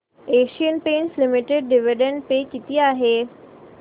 Asian Paints limited dividend pay किती आहे